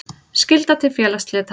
Skylda til félagsslita.